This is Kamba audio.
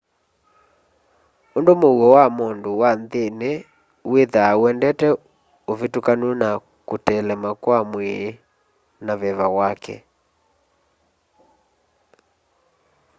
undu mũũo wa mũndũ wa nthĩnĩ wĩtha ũendete ũvĩtũkanu na kuteelema kwa mwĩì na veva wake